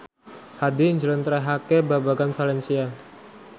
Hadi njlentrehake babagan valencia